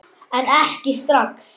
En ekki strax.